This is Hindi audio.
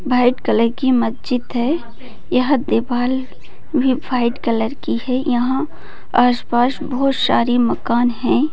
वाइट कलर की मस्जिद है यह दीवाल भी वाइट कलर की है यहाँ आसपास बहुत सारे मकान हैं।